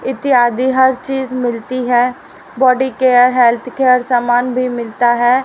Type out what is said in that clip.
इत्यादि हर चीज मिलती है बॉडी केयर हेल्थ केयर सामान भी मिलता है।